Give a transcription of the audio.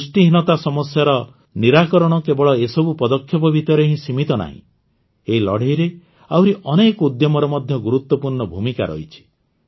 ପୁଷ୍ଟିହୀନତା ସମସ୍ୟାର ନିରାକରଣ କେବଳ ଏସବୁ ପଦକ୍ଷେପ ଭିତରେ ହଁ ସୀମିତ ନାହିଁ ଏହି ଲଢ଼େଇରେ ଆହୁରି ଅନେକ ଉଦ୍ୟମର ମଧ୍ୟ ଗୁରୁତ୍ୱପୂର୍ଣ୍ଣ ଭୂମିକା ରହିଛି